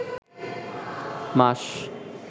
মাস